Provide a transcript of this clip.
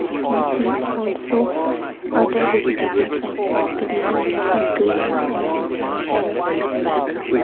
i can see also other vegetables like broccoli leafy greens and some carrot in the background.